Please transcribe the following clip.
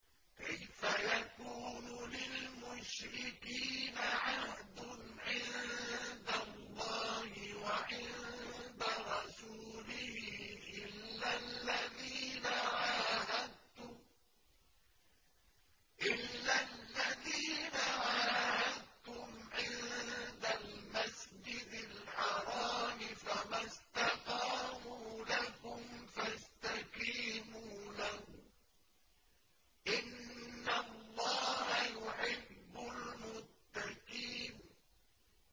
كَيْفَ يَكُونُ لِلْمُشْرِكِينَ عَهْدٌ عِندَ اللَّهِ وَعِندَ رَسُولِهِ إِلَّا الَّذِينَ عَاهَدتُّمْ عِندَ الْمَسْجِدِ الْحَرَامِ ۖ فَمَا اسْتَقَامُوا لَكُمْ فَاسْتَقِيمُوا لَهُمْ ۚ إِنَّ اللَّهَ يُحِبُّ الْمُتَّقِينَ